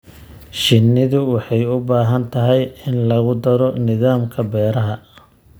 Shinnidu waxay u baahan tahay in lagu daro nidaamka beeraha.